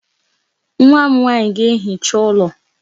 Nwa m nwaanyị ga-ehicha ụlọ.